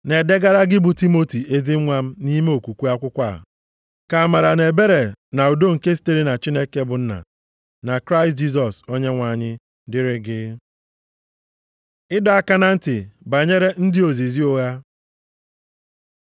Na-edegara gị bụ Timoti ezi nwa m nʼime okwukwe akwụkwọ a. Ka amara, na ebere na udo nke sitere na Chineke bụ Nna, na Kraịst Jisọs Onyenwe anyị dịrị gị. Ịdọ aka na ntị banyere ndị ozizi ụgha